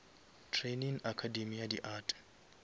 training academy ya di art